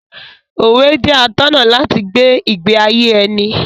Òwe jẹ́ atọ́nà láti gbé ìgbé ayé ẹni.